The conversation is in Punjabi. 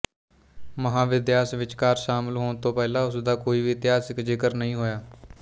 ਮਹਾਵਿਦਿਆਸ ਵਿਚਕਾਰ ਸ਼ਾਮਿਲ ਹੋਣ ਤੋਂ ਪਹਿਲਾਂ ਉਸ ਦਾ ਕੋਈ ਵੀ ਇਤਿਹਾਸਕ ਜ਼ਿਕਰ ਨਹੀਂ ਹੋਇਆ